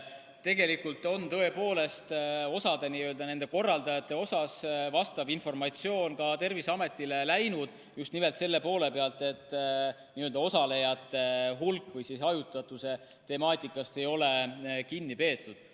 Tegelikult on tõepoolest osa nende korraldajate kohta vastav informatsioon ka Terviseametile läinud, just nimelt selle poole pealt, et osalejate hulga või hajutatuse ei ole kinni peetud.